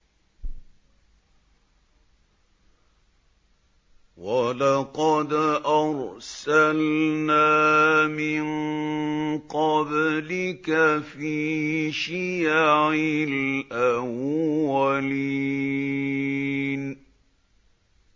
وَلَقَدْ أَرْسَلْنَا مِن قَبْلِكَ فِي شِيَعِ الْأَوَّلِينَ